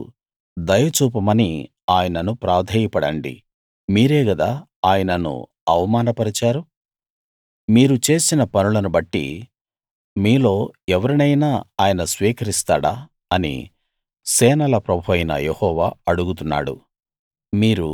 ఇప్పుడు దయ చూపమని ఆయనను ప్రాధేయపడండి మీరే గదా ఆయనను అవమాన పరచారు మీరు చేసిన పనులను బట్టి మీలో ఎవరినైనా ఆయన స్వీకరిస్తాడా అని సేనల ప్రభువైన యెహోవా అడుగుతున్నాడు